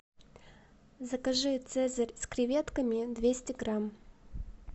закажи цезарь с креветками двести грамм